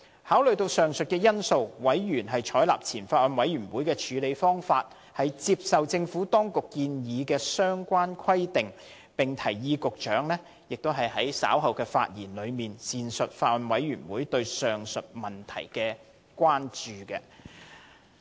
考慮到以上因素，委員採納前法案委員會的處理方法，接受政府當局建議的相關規定，並提議局長在稍後發言時，闡述法案委員會對上述問題的關注。